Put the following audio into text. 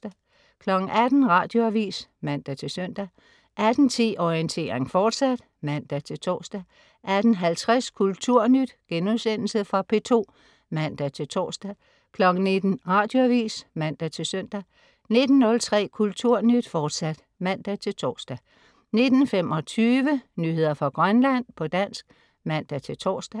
18.00 Radioavis (man-søn) 18.10 Orientering, fortsat (man-tors) 18.50 Kulturnyt.* Fra P2 (man-tors) 19.00 Radioavis (man-søn) 19.03 Kulturnyt, fortsat (man-tors) 19.25 Nyheder fra Grønland, på dansk (man-tors)